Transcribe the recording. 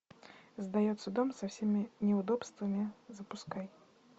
сдается дом со всеми неудобствами запускай